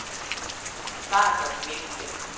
Snart var de væk igen.